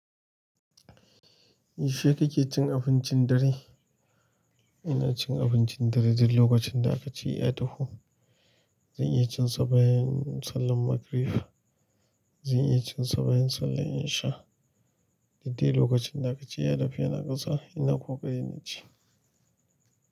Yaushe kake cin abincin dare? Ina cin abincin dare duk lokacin da aka ce ya taho. Zan iya cinsa bayan sallan magrib. Zan iya cin sa bayan sallan in sha. Duk dai lokacin da aka ci yadadu yana kusa ina ƙokari in ci.